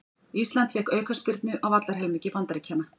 Ísland fékk aukaspyrnu á vallarhelmingi Bandaríkjanna